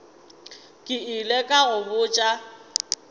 ke ile ka go botša